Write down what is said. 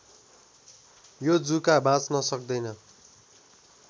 यो जुका बाँच्न सक्दैन